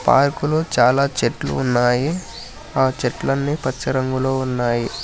Park లు చాలా చెట్లు ఉన్నాయి ఆ చెట్లన్నీ పచ్చ రంగులో ఉన్నాయి.